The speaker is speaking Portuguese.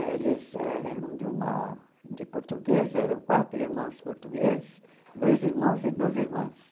Eles eram de uma de portugueses, eram quatro irmãos portugueses, dois irmãos e duas irmãs.